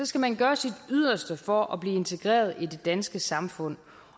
skal man gøre sit yderste for at blive integreret i det danske samfund